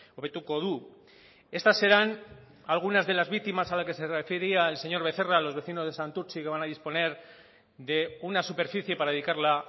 hobetuko du estas serán algunas de las víctimas a las que se refería el señor becerra a los vecinos de santurtzi que van a disponer de una superficie para dedicarla